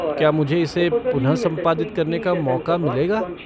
क्या मुझे इसे पुनः संपादित करने का मौक़ा मिलेगा?